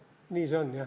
Nii see on, jah.